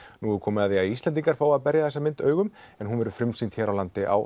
nú er komið að því að Íslendingar fái að berja þessa mynd augum en hún verður frumsýnd hér á landi á